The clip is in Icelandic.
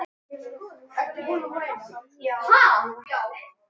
Sá strákur heitir Hilmar.